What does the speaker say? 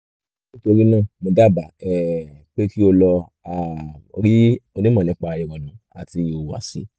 nítorí náà mo dábàá um pé kí o lọ um rí onímọ̀ nípa ìrònú àti ìhùwàsí